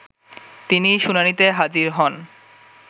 তিনি শুনানিতে হাজির হন